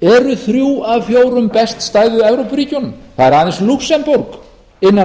eru þrjú af fjórum best stæðu evrópuríkjunum það er aðeins lúxemborg innan